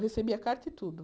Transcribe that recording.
Eu recebia carta e tudo.